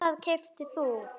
Hvað keyptir þú?